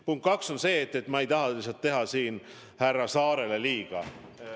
Punkt kaks on see, et ma ei taha teha siin härra Saarele liiga.